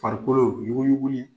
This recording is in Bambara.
Farikolo u yuguyugu ɲɛ